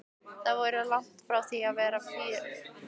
Þau voru langt frá því að vera fínt fólk.